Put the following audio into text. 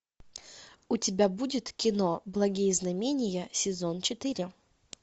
у тебя будет кино благие знамения сезон четыре